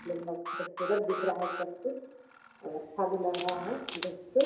यह मग खूबसूरत दिख रहा है सब से और अच्छा भी लग रहा है देख के।